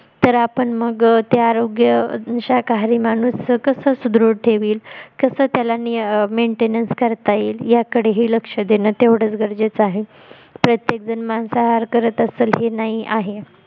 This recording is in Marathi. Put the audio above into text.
तर आपण मग ते आरोग्य शाकाहारी माणूस कसं सुदृढ ठेवील कसं त्याला maintenance करता येईल याकडेही लक्ष देणं तेवढच गरजेच आहे प्रत्येक जण मांसाहार करत असेल हे नाही आहे